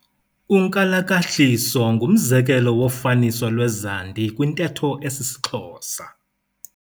Unkalakahliso ngumzekelo wofaniso lwezandi kwintetho esisiXhosa.